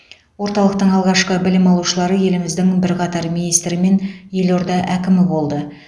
орталықтың алғашқы білім алушылары еліміздің бірқатар министрі мен елорда әкімі болды